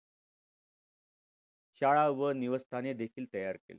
शाळा व निवस्थाने देखील तयार केली.